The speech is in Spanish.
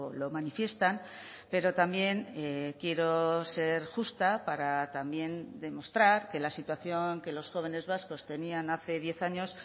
lo manifiestan pero también quiero ser justa para también demostrar que la situación que los jóvenes vascos tenían hace diez años